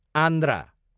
Andhra